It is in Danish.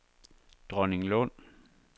Dronninglund